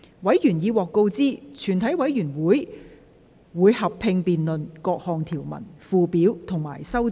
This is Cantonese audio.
委員已獲通知，全體委員會會合併辯論各項條文、附表及修正案。